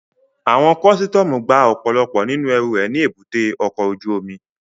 Àwọn kọ́sítọ́mù gba ọ̀pọ̀lọpọ̀ nínú ẹrù rẹ̀ ní èbúté ọkọ̀ ojú omi